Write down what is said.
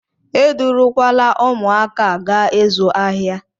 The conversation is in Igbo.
Edurukwala ụmụaka a gaa ịzụ ahịa!